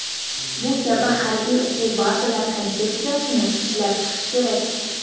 Bu kabi harbiy o‘quv bazalar konsepsiyasini ishlab chiqish kerak.